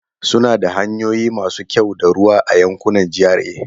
Suna da hanyoyi masu kyau da ruwa a yankunan GRA.